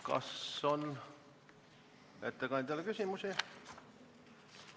Kas on ettekandjale küsimusi?